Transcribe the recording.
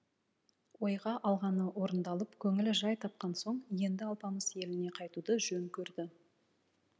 ойға алғаны орындалып көңілі жай тапқан соң енді алпамыс еліне қайтуды жөн көрді